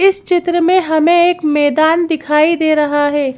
इस चित्र में हमें एक मैदान दिखाई दे रहा है।